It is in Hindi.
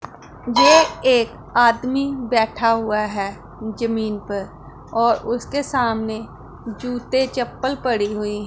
ये एक आदमी बैठा हुआ है जमीन पर और उसके सामने जूते चप्पल पड़ी हुई--